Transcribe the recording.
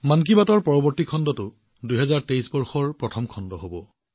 মন কী বাতৰ পৰৱৰ্তী খণ্ডটো ২০২৩বৰ্ষৰ প্ৰথম খণ্ড হব